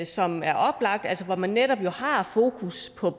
som er oplagte altså hvor man netop har fokus på